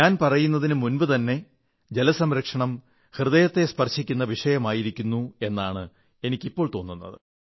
ഞാൻ പറയുന്നതിനു മുമ്പുതന്നെ ജലസംരക്ഷണം ഹൃദയത്തെ സ്പർശിക്കുന്ന വിഷയമായിരുന്നു എന്നാണ് എനിക്കിപ്പോൾ തോന്നുന്നത്